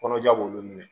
Kɔnɔja b'olu minɛ